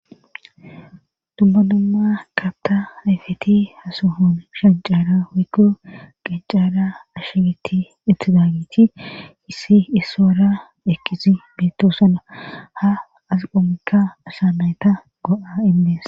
Dubbanamma kabta hayfeti hasohon shancaara woykko qancaara ashegetti ittidaagiti hissi issoora eqqisi bittosana ha asqomekka asamayta go7a indees